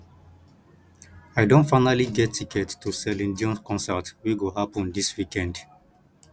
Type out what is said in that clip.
i don finally get ticket to celine dion concert wey go happen dis weekend